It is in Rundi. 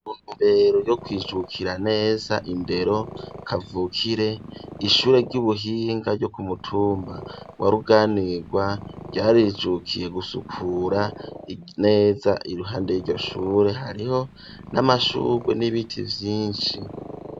M ntumbero yo kwijukira neza indero kavukire ishure ry'ubuhinga ryo ku mutumba wa Ruganirwa ryarijukiye gusukura neza iruhande yiryo shure hariho n'amashurwe n'ibiti vyishi.